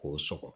K'o sɔgɔ